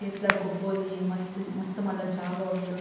ಏತ್ಲಾ ಗೊಬ್ಬೊಲಿ ಮಸ್ತ್ ಮಸ್ತ್ ಮಲ್ಲ ಜಾಗ ಉಂಡು.